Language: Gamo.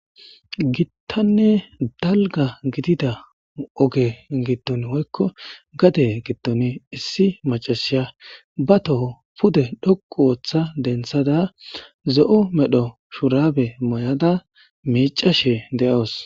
gittanne dalga gidida oge giddon woykko gade giddoni issi macashiya ba toho pude dhoqu ooththa denthada zo7o medho shurabe moy7ada miicashe de7awus